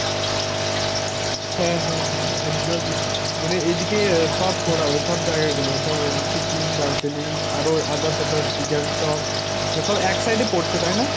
হাঁ হাঁ হাঁ একদমই মানে এইদিকে সব ঘোরা হবে সব জায়গাগুলো ধর সিকিম, দার্জিলিং আরো others others গ্যাংটক। সব এক side এ পড়ছে তাই না।